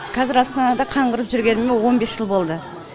қазір астанада қаңғырып жүргеніме он бес жыл болды